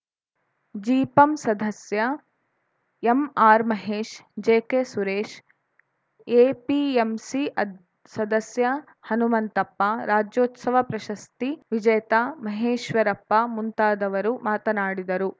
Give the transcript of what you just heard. ಜಿಪಂ ಸದಸ್ಯ MR Mahesh JK Suresh APMC ಅದ್ ಸದಸ್ಯ ಹನುಮಂತಪ್ಪ ರಾಜ್ಯೋತ್ಸವ ಪ್ರಶಸ್ತಿ ವಿಜೇತ ಮಹೇಶ್ವರಪ್ಪ ಮುಂತಾದವರು ಮಾತನಾಡಿದರು